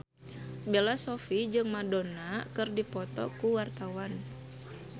Bella Shofie jeung Madonna keur dipoto ku wartawan